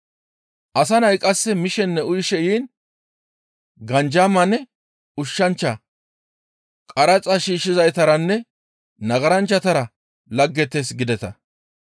Asa nay qasse mishenne uyishe yiin, ‹Ganjamanne ushshanchcha, qaraxa shiishshizaytaranne nagaranchchatara laggetees› gideta.